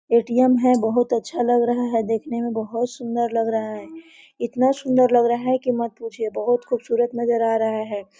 ATM है बहुत अच्छा लग रहा है देखने में बहुत सुन्दर लग रहा है इतना सुन्दर लग रहा है की मत पूछिए बहुत खूबसूरत नज़र आ रहा है।